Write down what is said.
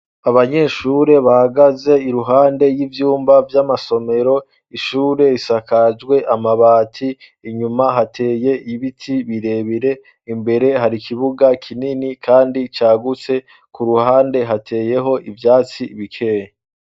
Abanyeshure bahagaze iruhande y'ivyumba vy'amasomero ishure isakajwe amabati inyuma hateye ibiti birebire, imbere hari ikibuga kinini kandi cagutse , ku ruhande hateyeho ivyatsi bikeya.